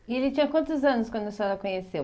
E ele tinha quantos anos quando a senhora conheceu?